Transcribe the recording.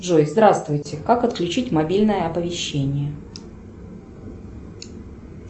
джой здравствуйте как отключить мобильное оповещение